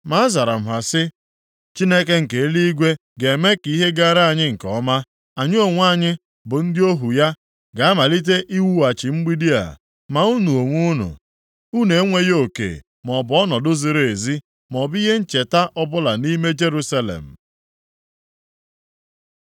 Ma azara m ha sị, “Chineke nke eluigwe ga-eme ka ihe gara anyị nke ọma. Anyị onwe anyị bụ ndị ohu ya ga-amalite iwughachi mgbidi a, ma unu onwe unu, unu enweghị oke maọbụ ọnọdụ ziri ezi maọbụ ihe ncheta ọbụla nʼime Jerusalem.”